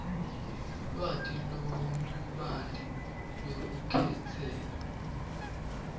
lwati lolubanti lwelukhetselo